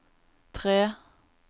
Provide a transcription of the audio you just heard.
tre